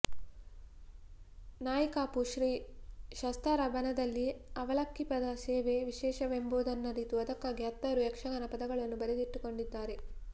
ನಾಯಿಕಾಪು ಶ್ರೀ ಶಾಸ್ತಾರ ಬನದಲ್ಲಿ ಅವಲಕ್ಕಿ ಪದ ಸೇವೆ ವಿಶೇಷವೆಂಬುದನ್ನರಿತು ಅದಕ್ಕಾಗಿ ಹತ್ತಾರು ಯಕ್ಷಗಾನ ಪದಗಳನ್ನು ಬರೆದುಕೊಟ್ಟಿದ್ದಾರೆ